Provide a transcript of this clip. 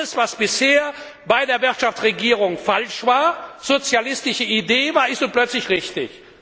Alles, was bisher bei der Wirtschaftsregierung falsch war, sozialistische Idee war, ist nun plötzlich richtig.